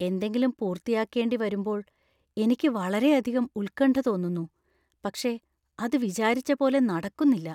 എന്തെങ്കിലും പൂർത്തിയാക്കേണ്ടിവരുമ്പോൾ എനിക്ക് വളരെയധികം ഉത്കണ്ഠ തോന്നുന്നു , പക്ഷേ അത് വിചാരിച്ച പോലെ നടക്കുന്നില്ല.